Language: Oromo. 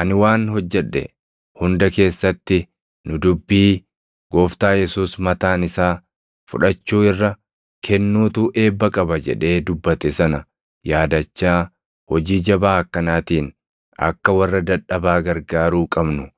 Ani waan hojjedhe hunda keessatti nu dubbii Gooftaa Yesuus mataan isaa, ‘Fudhachuu irra kennuutu eebba qaba’ jedhee dubbate sana yaadachaa hojii jabaa akkanaatiin akka warra dadhabaa gargaaruu qabnu